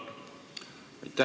Aitäh!